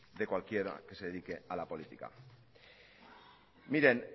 de cualquiera que se dedique a la política